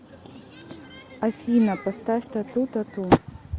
афина поставь тату т а т у